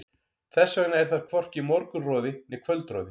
Þess vegna er þar hvorki morgunroði né kvöldroði.